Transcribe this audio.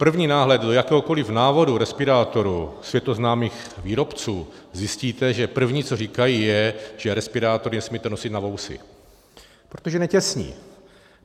První náhled do jakéhokoliv návodu respirátoru světoznámých výrobců - zjistíte, že první, co říkají, je, že respirátory nesmíte nosit na vousy, protože netěsní.